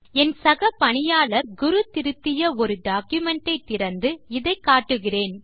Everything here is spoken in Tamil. என் சக பணியாளர் குரு திருத்திய ஒரு டாக்குமென்ட் ஐ திறந்து இதை காட்டுகிறேன்